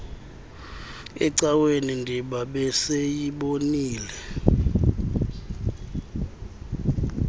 ecaweni ndiba besiyibonile